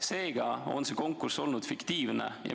Seega on see konkurss olnud fiktiivne.